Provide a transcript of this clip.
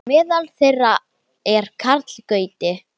Meðal þeirra er Karl Gauti.